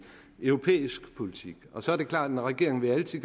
europæisk politik så er det klart at regeringen altid